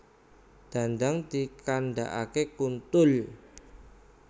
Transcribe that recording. Dandang dikandakake kuntul